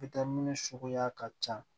suguya ka ca